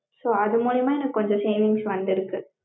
so அது மூலியமா எனக்கு கொஞ்சம் savings வந்திருக்கு.